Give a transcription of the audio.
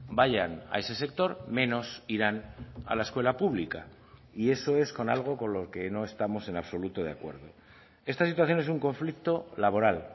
vayan a ese sector menos irán a la escuela pública y eso es con algo con lo que no estamos en absoluto de acuerdo esta situación es un conflicto laboral